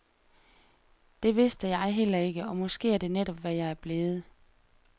Det vidste jeg heller ikke, og måske er det netop, hvad jeg er blevet.